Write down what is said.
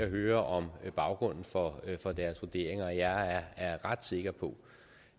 høre om baggrunden for deres vurderinger jeg er ret sikker på